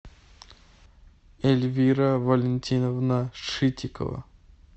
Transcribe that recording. эльвира валентиновна шитикова